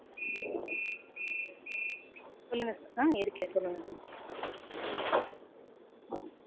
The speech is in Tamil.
சொல்லுங் sir ஆஹ் இருக்கேன் சொல்லுங்க